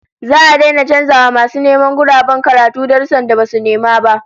Za'a daina canza wa masu neman guraben karatu darussan da basu nema ba